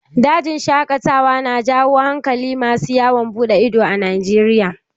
Dajin shaƙatawa na jawo hankalin masu yawon buɗe ido a Najeriya.